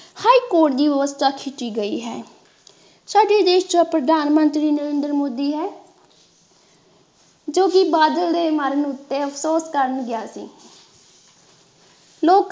high court ਦੀ ਵਿਵਸਥਾ ਕੀਤੀ ਗਈ ਹੈ ਸਾਡੇ ਦੇਸ਼ ਦਾ ਪ੍ਰਧਾਨ ਮੰਤਰੀ ਨਰਿੰਦਰ ਮੋਦੀ ਹੈ ਜੋ ਕਿ ਬਾਦਲ ਦੇ ਮਰਨ ਉੱਤੇ ਅਫਸੋਸ ਕਰਨ ਗਿਆ ਸੀ